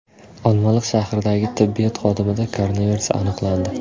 Olmaliq shahridagi tibbiyot xodimida koronavirus aniqlandi.